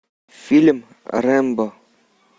фильм рэмбо